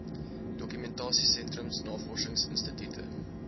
dokumentasie sentrums navorsingsinstitute